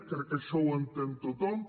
crec que això ho entén tothom